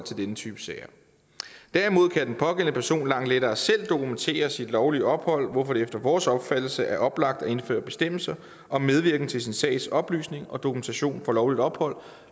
denne type sager derimod kan den pågældende person langt lettere selv dokumentere sit lovlige ophold hvorfor det efter vores opfattelse er oplagt at indføre bestemmelser om medvirken til sin sags oplysning og dokumentation for lovligt ophold